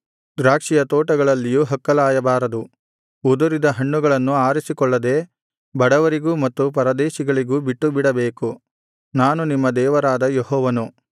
ದ್ರಾಕ್ಷಿಯ ತೋಟಗಳಲ್ಲಿಯೂ ಹಕ್ಕಲಾಯಬಾರದು ಉದುರಿದ ಹಣ್ಣುಗಳನ್ನು ಆರಿಸಿಕೊಳ್ಳದೆ ಬಡವರಿಗೂ ಮತ್ತು ಪರದೇಶಿಗಳಿಗೂ ಬಿಟ್ಟುಬಿಡಬೇಕು ನಾನು ನಿಮ್ಮ ದೇವರಾದ ಯೆಹೋವನು